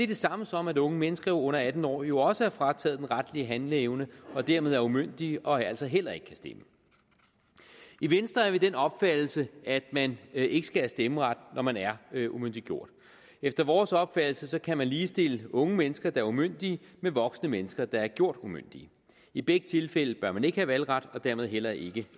det samme som at unge mennesker under atten år jo også er frataget den retlige handleevne og dermed er umyndige og altså heller ikke kan stemme i venstre er vi af den opfattelse at man ikke skal have stemmeret når man er umyndiggjort efter vores opfattelse kan man ligestille unge mennesker der er umyndige med voksne mennesker der er gjort umyndige i begge tilfælde bør man ikke have valgret og dermed heller ikke